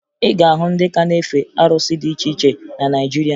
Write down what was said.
Ị ga-ahụ ndị ka na-efe arụsị dị iche iche na Naịjirịa